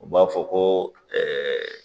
O b'a fɔ ko ɛɛ